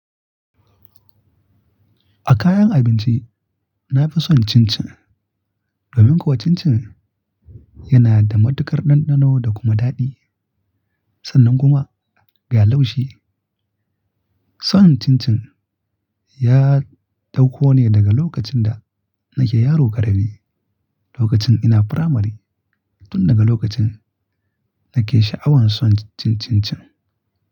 A kayan abinci, na fi son chin chin. Domin kuwa chin chin yana da matukar ɗanɗano da kuma daɗi, sannan kuma ga laushi. Son chin chin ya dauko ne daga lokacin da nake yaro ƙarami, lokacin ina firamari. Tun daga lokacin nake sha'awan son cin chin chin.